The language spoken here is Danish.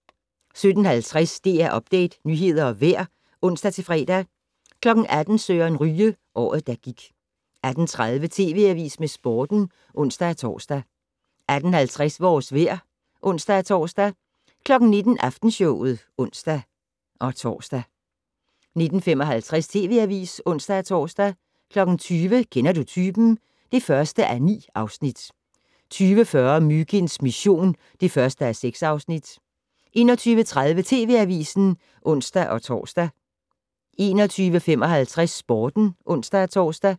17:50: DR Update - nyheder og vejr (ons-fre) 18:00: Søren Ryge: Året der gik 18:30: TV Avisen med Sporten (ons-tor) 18:50: Vores vejr (ons-tor) 19:00: Aftenshowet (ons-tor) 19:55: TV Avisen (ons-tor) 20:00: Kender du typen? (1:9) 20:40: Myginds mission (1:6) 21:30: TV Avisen (ons-tor) 21:55: Sporten (ons-tor)